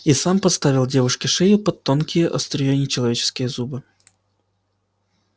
и сам подставил девушке шею под тонкие острые нечеловеческие зубы